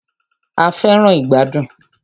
A fẹràn ìgbàdùn.